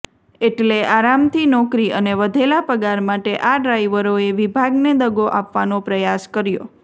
એટલે આરામથી નોકરી અને વધેલા પગાર માટે આ ડ્રાઈવરોએ વિભાગને દગો આપવાનો પ્રયાસ કર્યો